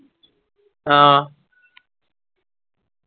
ആ